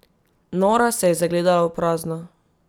Nora se je zagledala v prazno.